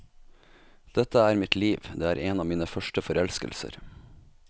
Dette er mitt liv, det er en av mine første forelskelser.